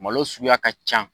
Malo suguya ka ca